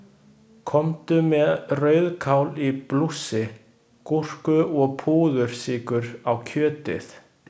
Komdu með rauðkál í blússi, gúrku og púðursykur á kjötið.